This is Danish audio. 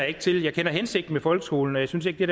ikke til jeg kender hensigten med folkeskolen og jeg synes ikke at